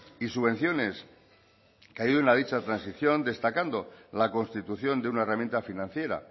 y subvenciones que ayuden a dicha transición destacando la constitución de una herramienta financiera